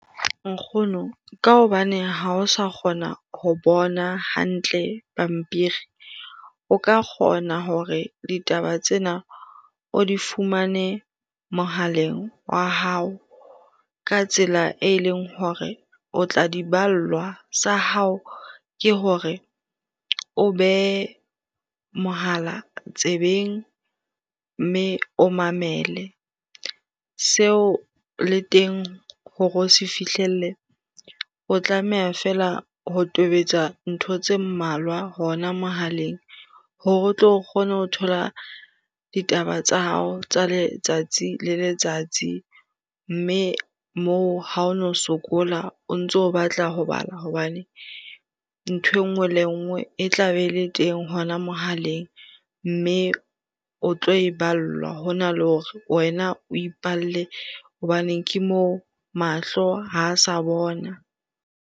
Nkgono, ka hobane ha o sa kgona ho bona hantle pampiri. O ka kgona hore ditaba tsena o di fumane mohaleng wa hao ka tsela e leng hore o tla diballwa. Sa hao ke hore o behe mohala tsebeng mme o mamele. Seo le teng hore o se fihlelle, o tlameha fela ho tobetsa ntho tse mmalwa hona mohaleng hore o tlo kgone ho thola ditaba tsa hao tsa letsatsi le letsatsi. Mme moo ha o no sokola o ntso batla ho bala hobane nthwe nngwe le nngwe e tla be le teng hona mohaleng, mme o tlo e ballwa hona le hore wena o ipalle hobane ke moo mahlo ha sa bona.